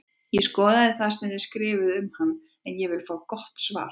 Ég skoðaði sem þið skrifuðuð um hann en ég vil fá gott svar!